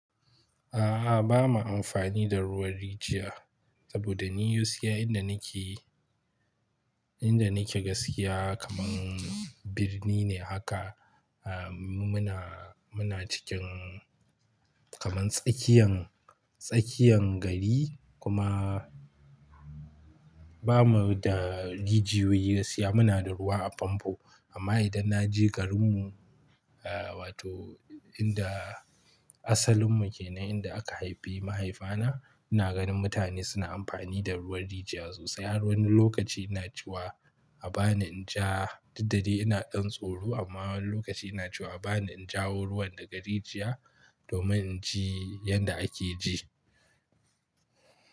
A'a, ba mu amfani da ruwan rijiya. Saboda ni gaskiya inda nake, inda nake gaskiya kamar birni ne haka. Muna, muna cikin kamar tsakiyan, tsakiyan gari kuma ba mu da rijiyoyi gaskiya. Muna da ruwa a famfo. Amma idan na je garinmu wato inda asalinmu ke nan, inda aka haifi mahaifana, ina ganin mutane suna amfani da ruwan rijiya sosai. Wani lokaci ina cewa a ba ni in ja duk da dai ina ɗan tsoro amma wani lokaci ina cewa a ba ni in jawo ruwan daga rijiya domin in ji yadda ake ji.